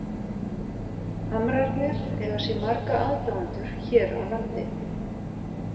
Hamrarnir eiga sér marga aðdáendur hér á landi.